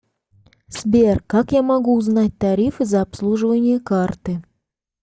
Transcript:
сбер как я могу узнать тарифы за обслуживание карты